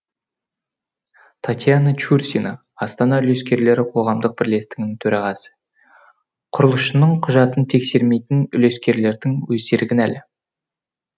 татьяна чурсина астана үлескерлері қоғамдық бірлестігінің төрағасы құрылысшының құжатын тексермейтін үлескерлердің өздері кінәлі